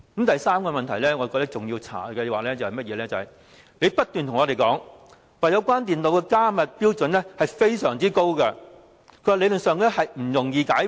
第三點我認為仍要調查的是，政府不斷對我們說，有關電腦的加密標準非常高，理論上，不易解破。